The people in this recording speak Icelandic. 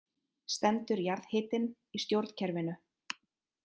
Stendur jarðhitinn í stjórnkerfinu